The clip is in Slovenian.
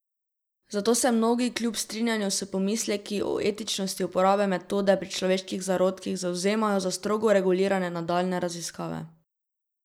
Zato se mnogi kljub strinjanju s pomisleki o etičnosti uporabe metode pri človeških zarodkih zavzemajo za strogo regulirane nadaljnje raziskave.